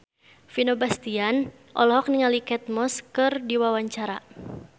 Vino Bastian olohok ningali Kate Moss keur diwawancara